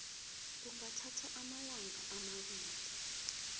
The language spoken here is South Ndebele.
kungathatha amalanga amabili